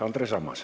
Andres Ammas.